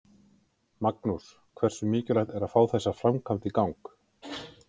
Magnús: Hversu mikilvægt er að fá þessa framkvæmd í gang?